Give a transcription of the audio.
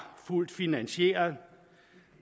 fuldt finansieret